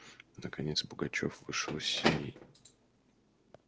наконец пугачёв вышел из сеней